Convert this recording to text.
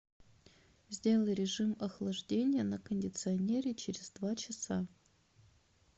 сделай режим охлаждения на кондиционере через два часа